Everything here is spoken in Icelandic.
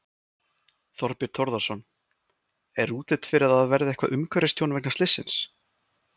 Þorbjörn Þórðarson: Er útlit fyrir að það verði eitthvað umhverfistjón vegna slyssins?